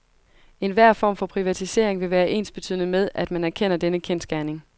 Enhver form for privatisering vil være ensbetydende med, at man erkender denne kendsgerning.